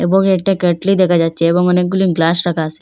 এবং একটা কেটলি দেখা যাচ্ছে এবং অনেকগুলি গ্লাস রাখা আসে।